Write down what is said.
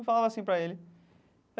Eu falava assim pra ele.